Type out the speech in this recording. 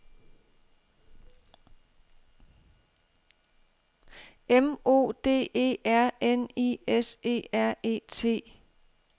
M O D E R N I S E R E T